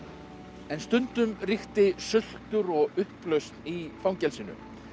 en stundum ríkti sultur og upplausn í fangelsinu